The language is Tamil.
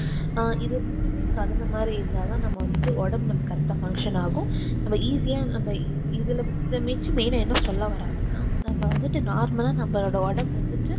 அஹ் இது மூணுமே கலந்த மாதிரி இருந்தாதான் நம்ம வந்துட்டு ஒடம்பு நமக்கு correct ஆஹ் function ஆகும் இத ஈசியா நம்ம இத இத வச்சு மேல என்ன சொல்ல வராங்கன்னா நம்ம வந்துட்டு normal லா நம்மளோட ஒடம்பு வந்துட்டு